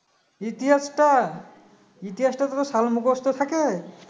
ইতিহাসটা ইতিহাসটা তোর সাল মুখস্ত থাকে